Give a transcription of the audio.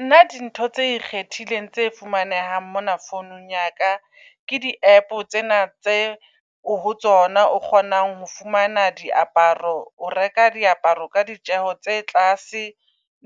Nna di ntho tse ikgethileng tse fumanehang mona founung ya ka ke di -app tsena tse ho tsona o kgonang ho fumana diaparo. O reka diaparo ka ditjeho tse tlase